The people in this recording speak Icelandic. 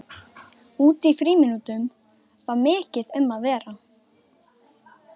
Úti í frímínútunum var mikið um að vera.